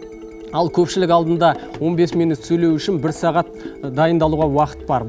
ал көпшілік алдында он бес минут сөйлеу үшін бір сағат дайындалуға уақыт бар